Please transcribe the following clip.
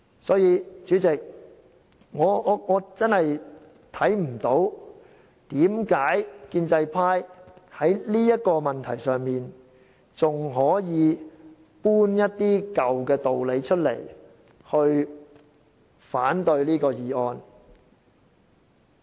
因此，主席，我真的看不到為何建制派在這個問題上，還可以搬出一些舊的道理來反對這項議案。